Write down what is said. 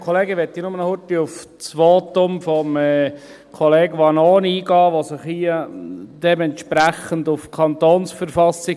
Ich möchte nur noch schnell auf das Votum von Kollege Vanoni eingehen, der sich hier entsprechend auf die KV beruft.